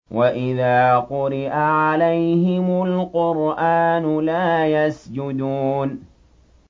وَإِذَا قُرِئَ عَلَيْهِمُ الْقُرْآنُ لَا يَسْجُدُونَ ۩